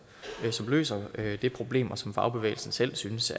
løser det problem og som fagbevægelsen selv synes